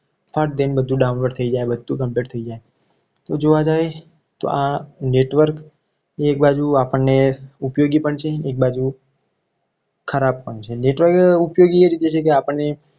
બધું download થઈ જાય. બધું complete થઈ જાય તો જોવા જઈએ આ network જો આપણને ઉપયોગી પણ છે. એક બાજુ ખરાબ પણ છે. જેટલો ઉપયોગી એ રીતે છે કે આપણને